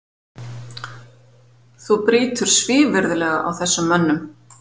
Þú brýtur svívirðilega á þessum mönnum!